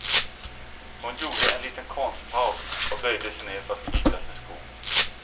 Hon gjorde en liten konstpaus och böjde sej ner för att knyta sin sko.